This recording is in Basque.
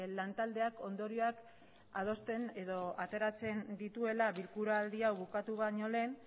lantaldeak ondorioak adosten edo ateratzen dituela bilkuraldi hau bukatu baino lehen